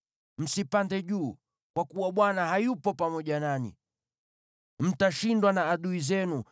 Msipande juu, kwa kuwa Bwana hayupo pamoja nanyi. Mtashindwa na adui zenu,